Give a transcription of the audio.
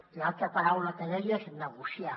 i l’altra paraula que deia és negociar